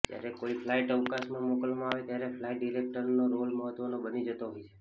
જ્યારે કોઈ ફ્લાઈટ અવકાશમાં મોકલવામાં આવે ત્યારે ફ્લાઈટ ડિરેક્ટરનો રોલ મહત્ત્વનો બની જતો હોય છે